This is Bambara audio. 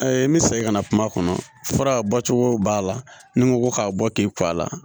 n bɛ segin ka na kuma kɔnɔ fara bɔcogo b'a la ni n ko ko k'a bɔ k'i kɔ a la